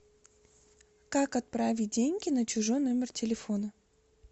как отправить деньги на чужой номер телефона